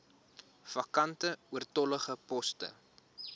vakante oortollige poste